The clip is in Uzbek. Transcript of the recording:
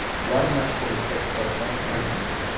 Ular mashhurlikda kitobdan kam emas.